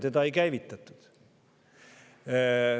Seda ei käivitatud.